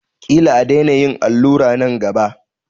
Ƙila a daina yin allura nan gaba.